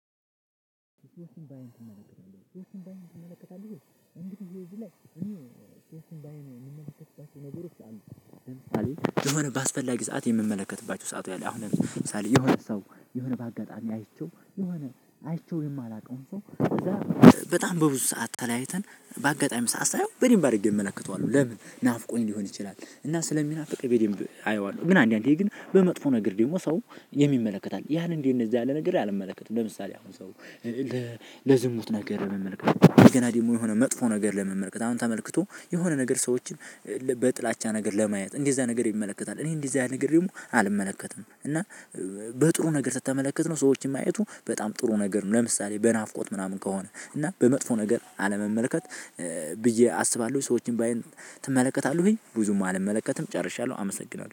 ሶስቱን በዓይንህ ትመለከታለህ ወይ? የሆነ በአስፈላጊ ሰዓት የምመለከትባቸው ሰዓቱ ያለ አሁን ለምሳሌ የሆነ ሰው የሆነ በአጋጣሚ አይቼው የሆነ አይቼው የማላውቀውን ሰው እዛ በጣም በብዙ ሰዓት ተለያይተን በአጋጣሚ ሰዓት ሳየው በደንብ አድርጌ እመለክተዋለሁ ለምን? ናፍቆኝ ሊሆን ይችላል። እና ስለሚናፍቀኝ በደንብ አየዋለሁ። ግን አንዳንዴ ግን በመጥፎ ነገር ደግሞ ሰው የሚመለከት አለ ያን እንደነዚህ ያለ ነገር አልመለከትም። ለምሳሌ አሁን ሰው ለዝሙት ነገር የምመለከተው የገና ደግሞ የሆነ መጥፎ ነገር ለመመልከት አሁን ተመልክቶ የሆነ ነገር ሰዎችን በጥላቻ ነገር ለማየት እንደዚህ እዛ ነገር ይመለከታል። እኔ እንደዚህ አይነት ነገር ደግሞ አልመለከትም። እና በጥሩ ነገር ስትመለከት ነው ሰዎችን ማየቱ በጣም ጥሩ ነገር ነው ለምሳሌ በናፍቆት ምናምን ከሆነ እና በመጥፎ ነገር አለመመልከት ብዬ አስባለሁ። ሰዎችን ባይ ትመለከታለህ ወይ? ብዙም አልመለከትም ጨርሻለሁ አመሰግናለሁ።